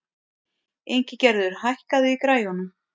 Ingigerður, hækkaðu í græjunum.